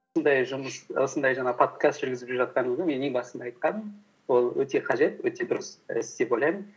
осындай жаңағы подкаст жүргізіп жатқаныңа мен ең басында айтқанмын ол өте қажет өте дұрыс іс деп ойлаймын